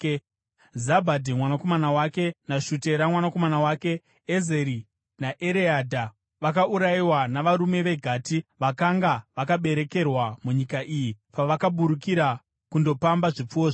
Zabhadhi mwanakomana wake naShutera mwanakomana wake. (Ezeri naEreadha vakaurayiwa navarume veGati vakanga vakaberekerwa munyika iyi pavakaburukira kundopamba zvipfuwo zvavo.